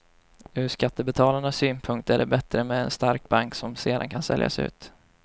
Ur skattebetalarnas synpunkt är det bättre med en stark bank som sedan kan säljas ut.